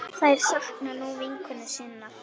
Þær sakna nú vinkonu sinnar.